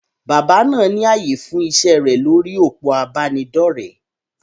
Bàbá náà ní ààyè fún iṣẹ́ rẹ̀ lórí òpó ìbánidọ́rẹ̀.